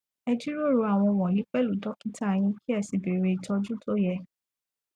ẹ jíròrò àwọn wọnyí pẹlú dọkítà yín kí ẹ sì bẹrẹ ìtòjú tó yẹ